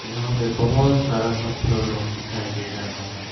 यहां में बहुत सारा पत्थर लोग दिखाई दे रहा है।